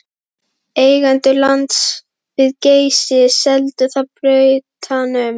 Eigendur lands við Geysi seldu það Bretanum